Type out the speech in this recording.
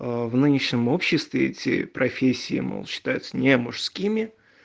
а в нынешнем обществе эти профессии мол считаются не мужскими